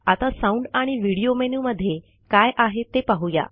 आता साऊंड आणि व्हिडिओ मेनूमध्ये काय आहे ते पाहू या